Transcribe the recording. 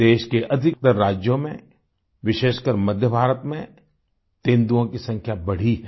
देश के अधिकतर राज्यों में विशेषकर मध्य भारत में तेंदुओं की संख्या बढ़ी है